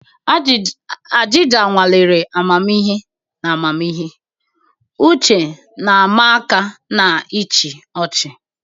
Ajịja nwalere amamihe na amamihe, uche na-ama aka na ịchị ọchị.